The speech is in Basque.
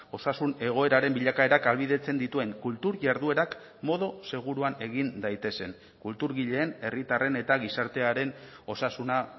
osasun egoeraren bilakaerak ahalbidetzen dituen kultur jarduerak modu seguruan egin daitezen kulturgileen herritarren eta gizartearen osasuna